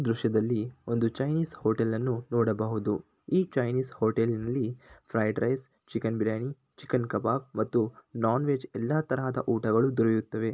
ಈ ದೃಶ್ಯ ದಲ್ಲಿ ಒಂದು ಚೈನ್ನಿಸ್ ಹೋಟೆಲ್ ಅನ್ನು ನೋಡಬಹುದು ಈ ಚೈನ್ನಿಸ್ ಹೋಟೆಲ್ ಅಲ್ಲಿ fried rice chicken biryani chicken kebab ಮತ್ತು ನಾನ್ ವೆಜ್ ಎಲ್ಲಾ ತರದ ಊಟ ಗಳು ದೊರೆಯುತ್ತದೆ.